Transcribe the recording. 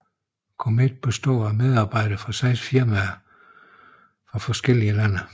COMET består af medarbejdere fra seks firmaer fra forskellige lande